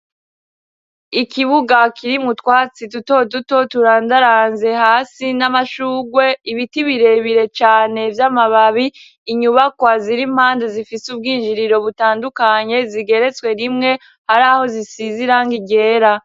Ikibuga kiri mutwatsi duto duto turandaranze hasi n'amashugwe ibiti birebire cane vy'amababi inyubakwa zirimpande zifise ubwinjiriro butandukanye zigeretswe rimwe hari aho zisizira nkigera.